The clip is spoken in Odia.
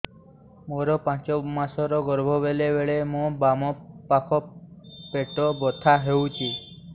ମୋର ପାଞ୍ଚ ମାସ ର ଗର୍ଭ ବେଳେ ବେଳେ ମୋ ବାମ ପାଖ ପେଟ ବଥା ହଉଛି